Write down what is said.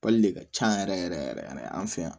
de ka can yɛrɛ yɛrɛ yɛrɛ yɛrɛ yɛrɛ an fɛ yan